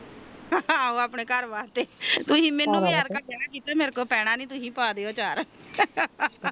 ਆਹੋ ਆਪਣੇ ਘਰ ਵਾਸਤੇ ਤੁਸੀ ਮੈਨੂੰ ਵਿਆਰ ਰੱਖ ਲੈਣਾ ਮੇਰੇ ਲੋਕੋ ਪੈਣਾ ਨੀ ਤੁਸੀਂ ਪਦਿਓ ਅਚਾਰ